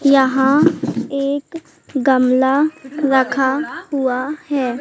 यहां एक गमला रखा हुआ है।